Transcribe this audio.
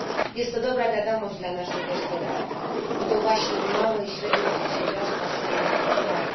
Jest to dobra wiadomość dla naszej gospodarki, bo to właśnie małe i średnie przedsiębiorstwa są jej podstawą.